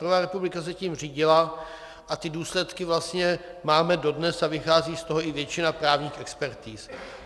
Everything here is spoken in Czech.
První republika se tím řídila a ty důsledky vlastně máme dodnes a vychází z toho i většina právních expertiz.